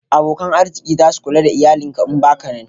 abokan arziki zasu Kula da iyalin ka in baka nan